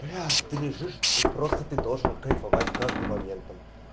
бля ты лежишь и просто ты тоже кайфовать каждым моментом